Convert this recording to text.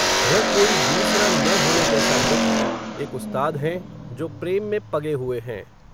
यह कोई दूसरा न होने जैसा व्यक्ति, एक उस्ताद हैं, जो प्रेम में पगे हुए हैं